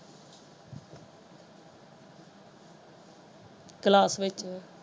Class ਵਿੱਚ।